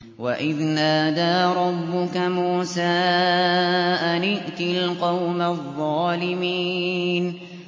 وَإِذْ نَادَىٰ رَبُّكَ مُوسَىٰ أَنِ ائْتِ الْقَوْمَ الظَّالِمِينَ